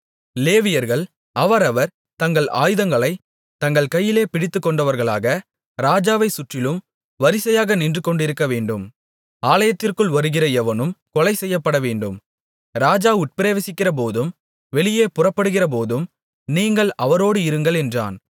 லேவியர்கள் அவரவர் தங்கள் ஆயுதங்களைத் தங்கள் கையிலே பிடித்துக்கொண்டவர்களாக ராஜாவைச் சுற்றிலும் வரிசையாக நின்றுகொண்டிருக்கவேண்டும் ஆலயத்திற்குள் வருகிற எவனும் கொலைசெய்யப்பட வேண்டும் ராஜா உட்பிரவேசிக்கிறபோதும் வெளியே புறப்படுகிறபோதும் நீங்கள் அவரோடு இருங்கள் என்றான்